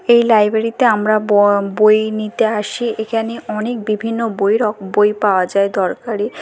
এই লাইব্রেরী তে আমরা ব বই নিতে আসি। এখানে অনেক বিভিন্ন বই রক বই পাওয়া যায় দরকারি।